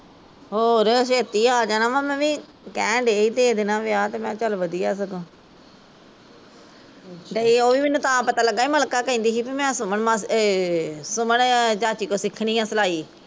ਹੋਰ ਛੇਤੀ ਆ ਜਾਣਾ ਵਾਂ ਮੈਂ ਵੀ ਕਹਿਣ ਡੀ ਸੀ ਭੇਜ ਦੇਣਾ ਵਿਆਹ ਤੇ ਮੈਂ ਕਿਹਾ ਚੱਲ ਵਧੀਆ ਸਗੋਂ ਡਈ ਓਹ ਵੀ ਮੈਂਨੂੰ ਤਾਂ ਪਤਾ ਲਗਾ ਸੀ ਮਲਿਕਾ ਕੇਹਨਦੀ ਸੀ ਵੀ ਮੈਂ ਸੁਮਨ ਮਾਸੀ ਏਹ ਸੁਮਨ ਚਾਚੀ ਤੋਂ ਸਿੱਖਣੀ ਆ ਸਿਲਾਈ